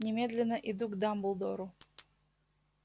немедленно иду к дамблдору